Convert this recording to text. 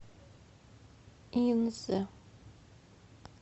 инзе